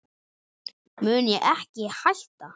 mun ég ekki hætta?